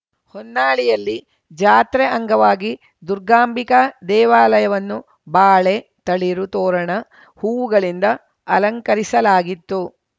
ಹೊನ್ನಾಳಿಯಲ್ಲಿ ಜಾತ್ರೆ ಅಂಗವಾಗಿ ದುರ್ಗಾಂಬಿಕಾ ದೇವಾಲಯವನ್ನು ಬಾಳೆ ತಳಿರು ತೋರಣ ಹೂವುಗಳಿಂದ ಅಲಂಕರಿಸಲಾಗಿತ್ತು